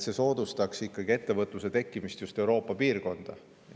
See soodustaks ikkagi ettevõtluse tekkimist just Euroopa piirkonnas.